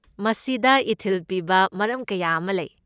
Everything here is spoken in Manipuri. ꯃꯁꯤꯗ ꯏꯊꯤꯜ ꯄꯤꯕ ꯃꯔꯝ ꯀꯌꯥ ꯑꯃ ꯂꯩ꯫